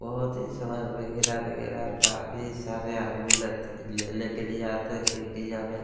बहुत ही सामान वगरैह - वगैरह और काफी सारे आदमी लगते ले लेने के लिए आते है क्योंकि यहाँ पे --